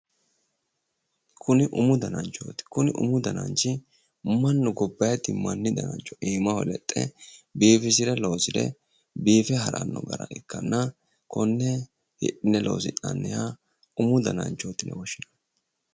Kuni umu dananchooti. umu dananchi mannu gobbaydi danancho iimaho lexxe biifisire loosire biife haranno gara ikkanna konne hidhine loosi'nanniha umu dananchooti yine woshshinanni.